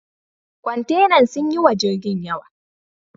Kwantenan sun yi wa jirgin yawa.